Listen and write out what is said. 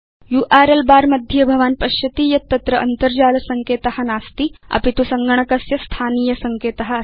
URL बर मध्ये भवान् पश्यति यत् तत्र अन्तर्जाल सङ्केत नास्ति अपि तु सङ्गणकस्य स्थानीय सङ्केत अस्ति